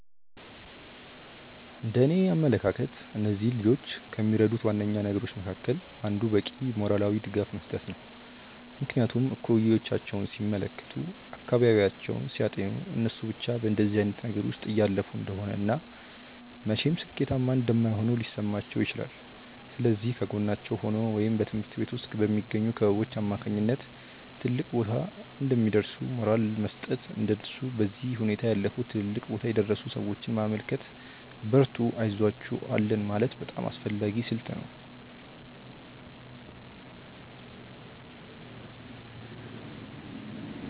እንደእኔ አመለካከት እነዚህን ልጆች ከሚረዱት ዋነኛ ነገሮች መካከል አንዱ በቂ ሞራላዊ ድጋፍ መስጠት ነው። ምክንያቱም እኩዮቻቸውን ሲመለከቱ፤ አካባቢያቸውን ሲያጤኑ እነሱ ብቻ በእንደዚህ አይነት ነገር ውስጥ እያለፉ እንደሆነ እና መቼም ሥኬታማ እንደማይሆኑ ሊሰማቸው ይችላል። ስለዚህ ከጎናቸው ሆኖ ወይም በትምሀርት ቤት ውስጥ በሚገኙ ክበቦች አማካኝነት ትልቅ ቦታ እንደሚደርሱ ሞራል መስጠት፤ እንደነሱ በዚህ ሁኔታ ያለፉ ትልልቅ ቦታ የደረሱን ሰዎች ማመልከት፤ በርቱ አይዞአችሁ አለን ማለት በጣም አስፈላጊ ስልት ነው።